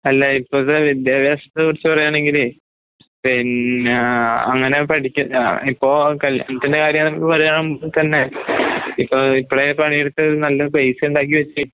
അല്ല ഇപ്പത്തെ വിദ്യാഭാസത്തെക്കുറിച്ച് പറയാണെങ്കില് പിന്നേഹ് അങ്ങനെ പഠിക്ക അഇപ്പോൾ കല്യാണത്തിന്റെകാര്യാവുമ്പൊവലുതാവുമ്പൊത്തന്നെ ഇപ്പ ഇപ്പഴേപണിയെടുത്ത് നല്ലപൈസയുണ്ടാക്കിവെക്ക്.